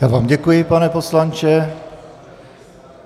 Já vám děkuji, pane poslanče.